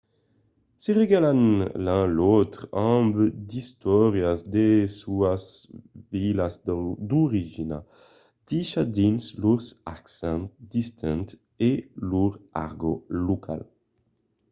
se regalan l'un l'autre amb d'istòrias de sas vilas d'origina dichas dins lors accents distints e lor argòt local